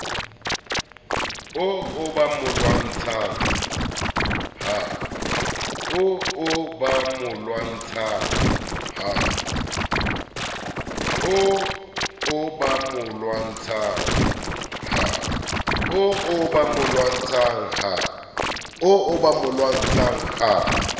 oo ba mo lwantshang ha